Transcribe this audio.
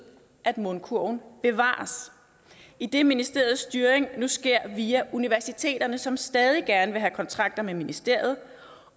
at mundkurven bevares idet ministeriets styring nu sker via universiteterne som stadig gerne vil have kontrakter med ministeriet